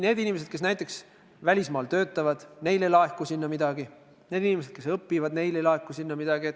Need inimesed, kes näiteks välismaal töötavad – neil ei laeku sinna midagi; need inimesed, kes õpivad – ka neil ei laeku sinna midagi.